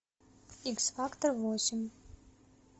икс фактор восемь